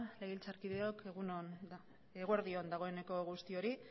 legebiltzarkideok egun on eguerdi on dagoeneko guztiori